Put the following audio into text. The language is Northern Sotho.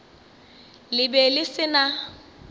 le be le se na